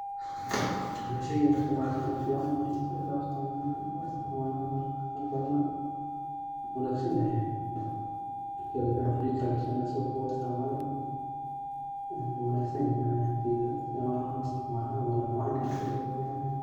Sheygan wax kumaa arkin, zaid aan u isticmala, marar badan aan uu wanagsanyaha. Fridgeka gishani asago qawow aa isticmali wuu wanagsanyahay ani ahanteyda ,wunaa macan yahay zaid ayu u macan yahay.